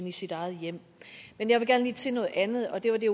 i sit eget hjem men jeg vil gerne lige til noget andet og det var det